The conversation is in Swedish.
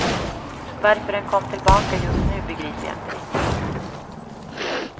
Varför den kom tillbaka just nu begriper jag inte riktigt.